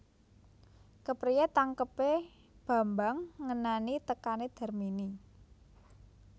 Kepriyé tangkebé Bambang ngenani tekané Darmini